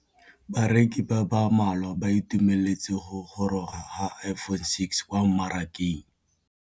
Bareki ba ba malwa ba ituemeletse go gôrôga ga Iphone6 kwa mmarakeng.